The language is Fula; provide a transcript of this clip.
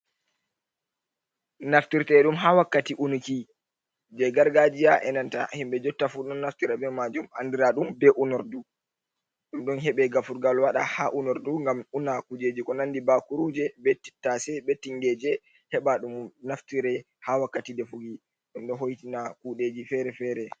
Naftirte ɗum ha wakkati unuki je gargajiya e nanta himɓɓe jontta fu ɗon naftira be majum andira ɗum be unordu, ɗum ɗon heɓe gafurgal waɗa ha unordu ngam una kujeji ko nandi bakuruje, be tttase, be tingeje, heɓa ɗum naftire ha wakkati defugi ɗo hoitina kuɗeji fere fere.